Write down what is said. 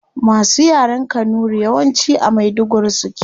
Masu yaren kanuri yawanci a maiduguri suke